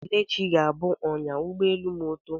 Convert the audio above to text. Kelechi ga-abụ ọnyá ụgbọelu ma ọ too.